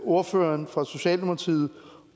ordføreren for socialdemokratiet